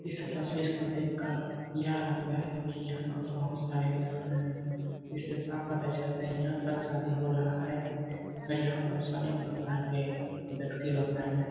इस तस्वीर को देखकर यह लगता है कि यहाँ पर बहुत सारे भेड़ हो रहे हैं इससे साफ पता चलता है यहाँ पर शादी हो रहा है और यहाँ पर स अनेक प्रकार के व्यक्ति लोग आए हैं ।